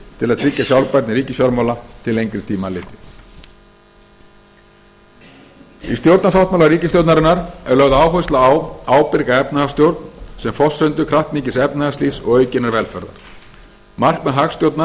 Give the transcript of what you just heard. til að tryggja sjálfbærni ríkisfjármála til lengri tíma litið í stjórnarsáttmála ríkisstjórnarinnar er lögð áhersla á ábyrga efnahagsstjórn sem forsendu kraftmikils efnahagslífs og aukinnar velferðar markmið hagstjórnar er